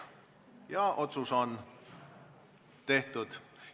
Ja otsus on tehtud.